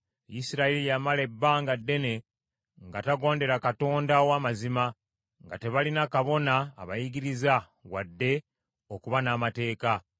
Isirayiri yamala ebbanga ddene nga tegondera Katonda ow’amazima, nga tebalina kabona abayigiriza, wadde okuba n’amateeka.